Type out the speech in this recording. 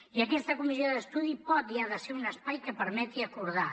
i aquesta comissió d’estudi pot i ha de ser un espai que permeti acordar